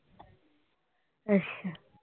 ਅੱਛਾ।